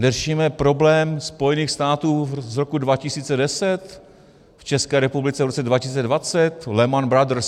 Řešíme problém Spojených států z roku 2010 v České republice v roce 2020 - Lehman Brothers?